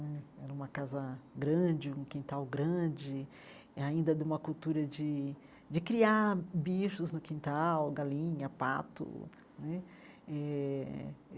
Eh era uma casa grande, um quintal grande, ainda de uma cultura de de criar bichos no quintal, galinha, pato né eh.